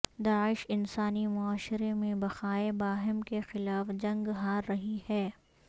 داعش انسانی معاشرے میں بقائے باہم کے خلاف جنگ ہار رہی ہے